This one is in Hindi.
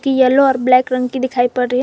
टी येलो और ब्लैक रंग की दिखाई पड़ रही है।